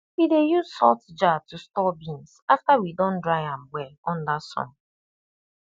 we dey use salt jar to store beans after we don dry am well under sun